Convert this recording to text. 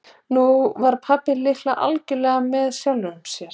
Nú var pabbi líka algjörlega með sjálfum sér.